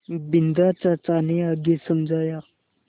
बिन्दा चाचा ने आगे समझाया